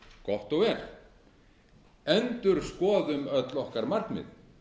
gott og vel endurskoðum öll okkar markmið